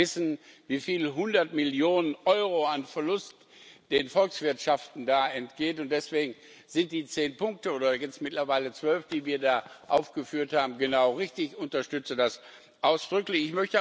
Wir wissen, wie viele hundert Millionen Euro an Verlust den Volkswirtschaften da entgehen, und deswegen sind die zehn oder mittlerweile zwölf Punkte, die wir da aufgeführt haben, genau richtig. Ich unterstütze das ausdrücklich.